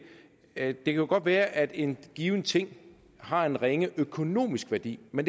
at det godt kan være at en given ting har en ringe økonomisk værdi men